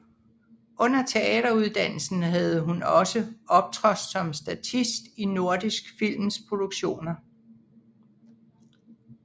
Under teateruddannelsen havde hun også optrådt som statist i Nordisk Films filmproduktioner